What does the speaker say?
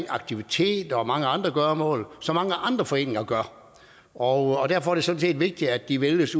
aktiviteter og mange andre gøremål som mange andre foreninger gør og derfor er det sådan set vigtigt at de vælges